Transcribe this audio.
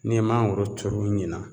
N'i ye mangoro turu ɲina